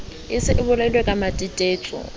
e se e bolailwe kematetetso